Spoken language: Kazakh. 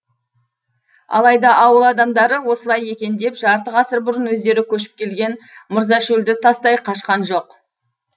алайда ауыл адамдары осылай екен деп жарты ғасыр бұрын өздері көшіп келген мырзашөлді тастай қашқан жоқ